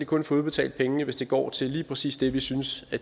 kun få udbetalt pengene hvis det går til lige præcis det vi synes det